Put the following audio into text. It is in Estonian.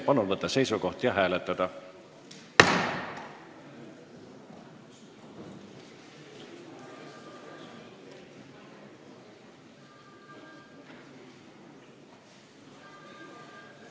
Palun võtta seisukoht ja hääletada!